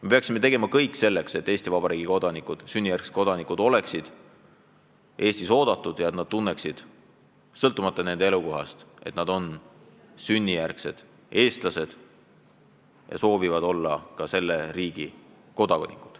Me peaksime tegema kõik selleks, et Eesti Vabariigi sünnijärgsed kodanikud oleksid Eestis oodatud ja tunneksid sõltumata oma elukohast, et nad on sünnilt eestlased ja soovivad olla ka selle riigi kodanikud.